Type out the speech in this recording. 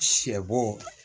Sɛ bo